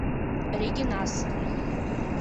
регинас